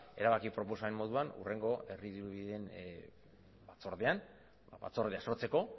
erabaki proposamen moduan hurrengo herri dirubideen batzordean batzordea sortzeko